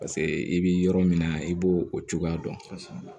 paseke i bi yɔrɔ min na i b'o o cogoya dɔn